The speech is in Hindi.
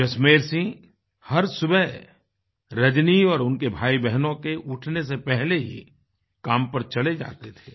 जसमेर सिंह हर सुबह रजनी और उनके भाईबहनों के उठने से पहले ही काम पर चले जाते थे